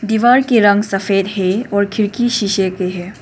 दीवार की रंग सफेद है और खिड़की शीशे के है।